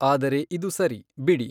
ಆದರೆ ಇದು ಸರಿ, ಬಿಡಿ!